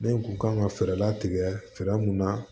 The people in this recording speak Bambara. Ne kun kan ka fɛɛrɛ latigɛ fɛɛrɛ mun na